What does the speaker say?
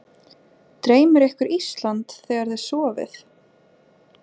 Dreymir ykkur Ísland þegar þið sofið?